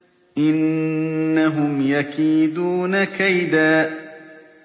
إِنَّهُمْ يَكِيدُونَ كَيْدًا